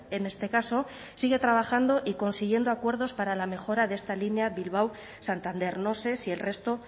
en este caso sigue trabajando y consiguiendo acuerdos para la mejora de esta línea bilbao santander no sé si el resto